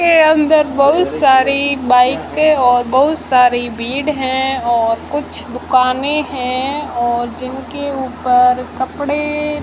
के अंदर बहुत सारी बाइके और बहुत सारी भीड़ है और कुछ दुकानें हैं और जिनके ऊपर कपड़े--